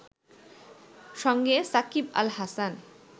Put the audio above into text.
সঙ্গী সাকিব আল হাসান